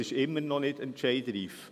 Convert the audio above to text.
Es ist immer noch nicht entscheidreif.